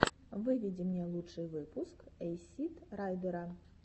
выведи мне лучший выпуск эйсид райдера